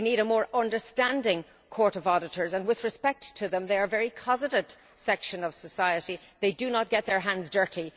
We need a more understanding Court of Auditors and with respect to them they are a very cosseted section of society, and they do not get their hands dirty.